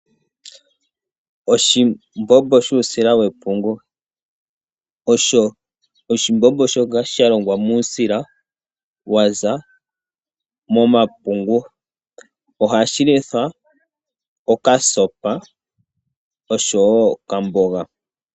Oshimbombo shuusila wepungu, osho oshimbombo shoka shalongwa muusila waza momapungu, ohashi lithwa okasopa oshowo okamboga,